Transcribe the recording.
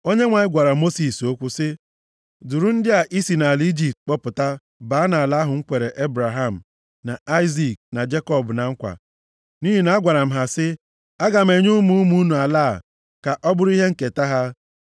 Onyenwe anyị gwara Mosis okwu sị, “Duru ndị a i si nʼala Ijipt kpọpụta baa nʼala ahụ m kwere Ebraham, na Aịzik na Jekọb na nkwa, nʼihi na agwara m ha sị, ‘Aga m enye ụmụ ụmụ unu ala a, ka ọ bụrụ ihe nketa ha.’